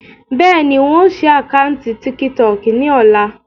Bẹ́ẹ̀ni, ń ó sì àkántì "tíkítọọ́kì" ni ọ̀la.